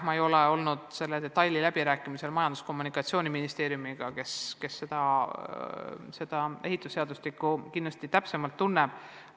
Ma ei olnud juures, kui seda detaili arutati Majandus- ja Kommunikatsiooniministeeriumiga, kes ehitusseadustikku kindlasti täpsemalt tunneb.